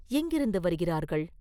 எங்கிருந்து வருகிறார்கள்?